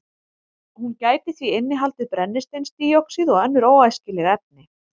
Hún gæti því innihaldið brennisteinsdíoxíð og önnur óæskileg efni.